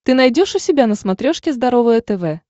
ты найдешь у себя на смотрешке здоровое тв